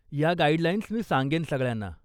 या गाईडलाईन्स मी सांगेन सगळ्यांना.